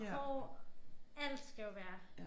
Hår alt skal jo være